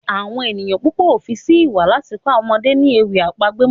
Awọn ènìyàn púpọ o fí sí ìwà láti kọ àwọn ọmọdé ni ewì àpagbè mọ.